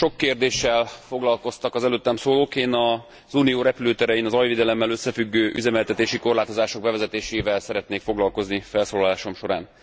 Sok kérdéssel foglalkoztak az előttem szólók. Én az Unió repülőterein a zajvédelemmel összefüggő üzemeltetési korlátozások bevezetésével szeretnék foglalkozni felszólalásom során.